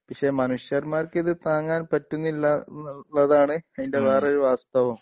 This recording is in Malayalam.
പക്ഷേ മനുഷ്യന്മാർ ഇത് താങ്ങാൻ പറ്റുന്നില്ല എന്നുള്ളതാണ് ഇതിൻ്റെ വേറൊരു വാസ്തവം